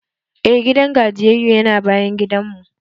Eh, gidan gajiyayyu yana bayan gidanmu.